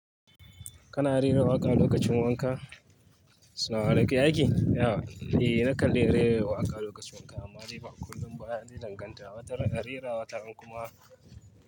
Kana rera waƙa lokacin wanka? Salama Aleikum ya aiƙi? Eh nakan rera waƙa lokacin wanka amma dai ba kullum ba, yana danganta. Wata ran rera, wata ran kuma.